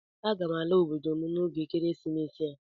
Aga m ala obodo m n'oge ekeresimesi a